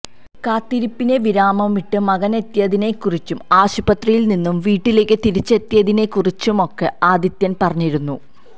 കാത്തിരിപ്പിന് വിരാമമിട്ട് മകനെത്തിയതിനെക്കുറിച്ചും ആശുപത്രിയില് നിന്നും വീട്ടിലേക്ക് തിരിച്ചെത്തിയതിനെക്കുറിച്ചുമൊക്കെ ആദിത്യന് പറഞ്ഞിരുന്നു